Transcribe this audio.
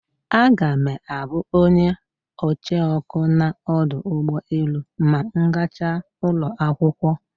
Aga me abu onye ocheoku na odu ugboelu ma m gacha ulo akwokwo.